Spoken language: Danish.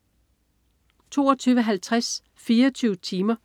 22.50 24 timer.